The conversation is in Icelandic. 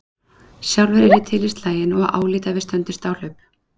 Sjálfur er ég til í slaginn og álít að við stöndumst áhlaup.